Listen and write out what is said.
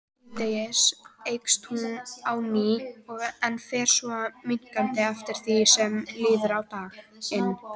Síðdegis eykst hún á ný en fer svo minnkandi eftir því sem líður á daginn.